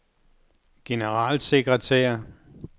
generalsekretær